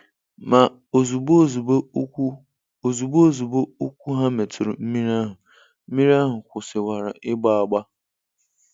Ma ozugbo ozugbo ụkwụ ozugbo ozugbo ụkwụ ha metụrụ mmiri ahụ, mmiri ahụ kwụsịwara ịgba agba.